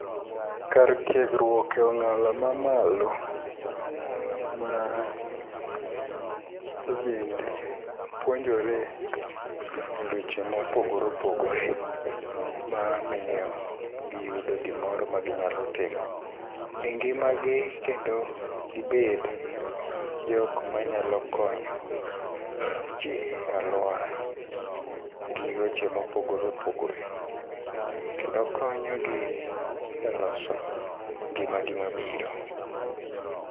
Kar tiegruok e ong'ala mamalo ma ojende puonjore eweche ma opogore opogore. Ma miyo giyudo gimoro ma ginyalo timo engimagi kendo gibed jok manyalo konyoji e aluora gi weche ma opogore opogore. Kendo konyogi e loso ngimagi mabiro.